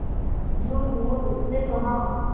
झूठमूठ उसने कहा